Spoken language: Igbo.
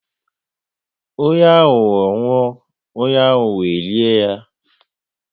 Onye ahụho nwụọ, onye ahụho e lie ya